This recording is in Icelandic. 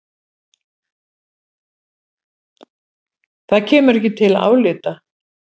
Það kemur ekki til álita.